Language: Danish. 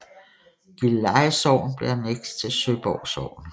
Gilleleje Sogn blev anneks til Søborg Sogn